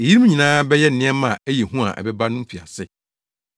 Eyinom nyinaa bɛyɛ nneɛma a ɛyɛ hu a ɛbɛba no mfiase.